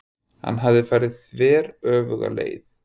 Hann hafði farið þveröfuga leið.